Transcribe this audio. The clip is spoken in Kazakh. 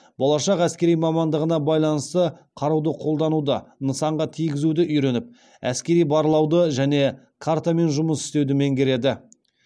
болашақ әскери мамандығына байланысты қаруды қолдануды нысанға тигізуді үйреніп әскери барлауды және картамен жұмыс істеуді меңгереді